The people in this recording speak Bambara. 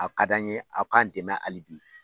A ka d'a'n ye aw k'an dɛmɛ hali bi.